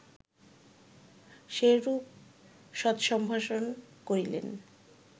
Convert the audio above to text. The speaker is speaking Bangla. সেইরূপ সৎসম্ভাষণ করিলেন